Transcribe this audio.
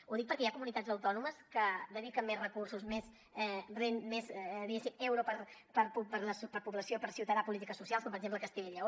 ho dic perquè hi ha comunitats autònomes que dediquen més recursos més diguéssim euro per població per ciutadà a polítiques socials com per exemple castella i lleó